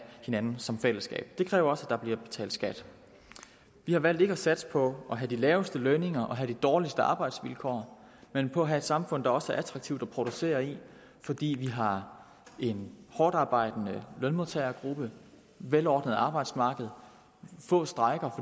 hinanden som fællesskab det kræver også at der bliver betalt skat vi har valgt ikke at satse på at have de laveste lønninger og de dårligste arbejdsvilkår men på at have et samfund der også er attraktivt at producere i fordi vi har en hårdtarbejdende lønmodtagergruppe et velordnet arbejdsmarked få strejker